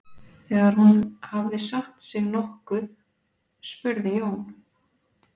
Þegar hún hafði satt sig nokkuð spurði Jón